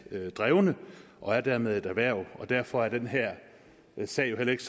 drevne og er dermed et erhverv derfor er den her sag jo heller ikke